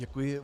Děkuji.